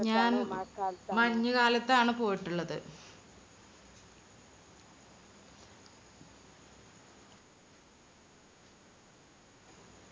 ഞാൻ മഞ്ഞുകാലത്താണ് പോയിട്ടുള്ളത്.